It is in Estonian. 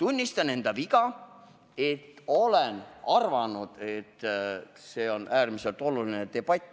tunnistan enda viga, et olen arvanud, et see on äärmiselt oluline debatt.